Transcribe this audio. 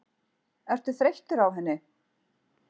Ertu þreyttur á henni?